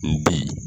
N bi